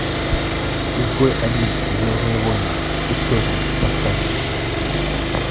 изгой один звездные войны истории поставь